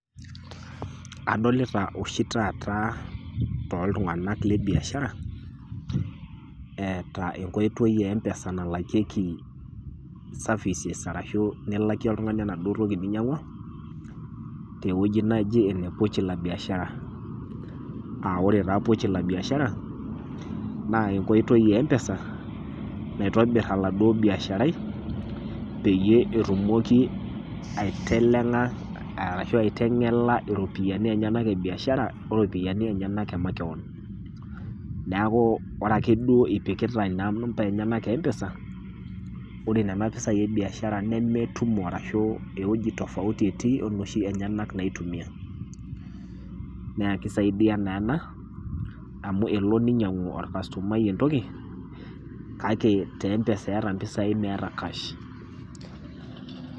Adolita oshi taa too iltung'ana le biashara, eata enkoitoi e biashara nalakieki services ashu nilakie oltung'ani naduo toki ninyang'ua, tewueji naji ene pochi la biashara, a Kore taa pochi la biashara naa enkoitoi e empesa naitobir oladuo biasharai peyie etumoki aiteng'ela ashu aiteng'ela iropiani enyena e biashara o iropiani enyena e makewan. Neaku ore ake duo ipikita inampai enyena e empesa, ore nena nampai e biashara nemeetumo arashu ewueji tofauti etii o nooshi enyena naitumia, naa ekeisaidia naa ena amu elo ninye neinyangu olkastomai entoki, kake te empesa eata impisai meata kash.